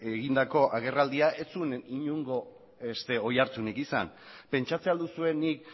egindako agerraldia ez zuen inongo beste oihartzunik izan pentsatzen ahal duzue nik